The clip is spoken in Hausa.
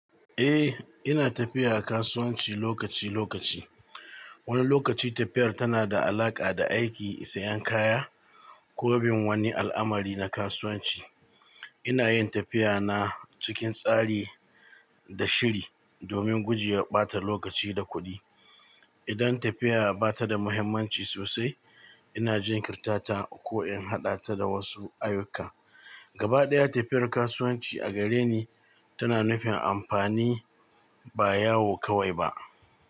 Eh, ina tafiya kasuwanci lokaci-lokaci. Wani lokaci tafiyar tana da alaƙa da aiki, sayan kaya ko bin wani al'amari na kasuwanci. Ina yin tafiya na cikin tsari da shiri domin guje wa ɓata lokaci da kuɗi. Idan tafiya ba ta da muhimmanci sosai, ina jinkirtata ko in haɗa ta da wasu ayyuka. Gabaɗaya, tafiyar kasuwanci a gare ni tana nufin amfani ba yawo kawai ba.